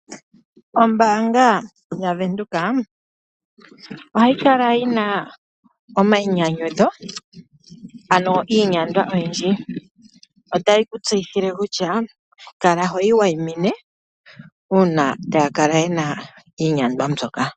Ombaanga yaVenduka ohayi kala yi na omayinyanyudho, ano iinyandwa oyindji. Otayi ku tseyithile kutya kala hoyi wayimine uuna taya kala ye na iinyandwa mbyoka.